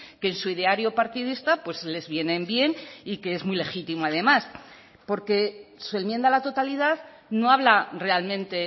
que en su ideario partidista les vienen bien y que es muy legítimo además porque su enmienda a la totalidad no habla realmente